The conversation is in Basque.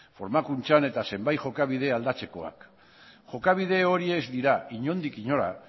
formakuntzan eta zenbait jokabide aldatzekoak jokabide horiek ez dira inondik inora